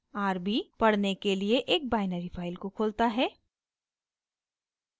rb = पढ़ने के लिए एक बाइनरी फाइल को खोलता है